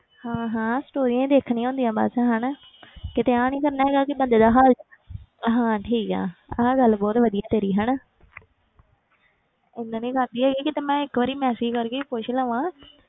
ਹਾਂ ਹਾਂ stories ਹੀ ਦੇਖਣੀਆਂ ਹੁੰਦੀਆਂ ਬਸ ਹਨਾ ਕਿਤੇ ਆ ਨੀ ਕਰਨਾ ਹੈਗਾ ਕਿ ਬੰਦੇ ਦਾ ਹਾਲ ਹਾਂ ਠੀਕ ਹੈ, ਆਹ ਗੱਲ ਬਹੁਤ ਵਧੀਆ ਤੇਰੀ ਹਨਾ ਇੰਨਾ ਨੀ ਕਰਦੀ ਹੈਗੀ ਕਿਤੇ ਮੈਂ ਇੱਕ ਵਾਰੀ message ਕਰਕੇ ਹੀ ਪੁੱਛ ਲਵਾਂ